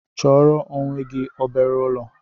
Chọọrọ onwe gị obere ụlọ!